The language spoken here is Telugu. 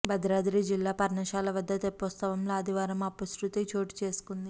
భద్రాద్రి జిల్లా పర్ణశాల వద్ద తెప్పోత్సవంలో ఆదివారం అపశృతి చోటు చేసుకుంది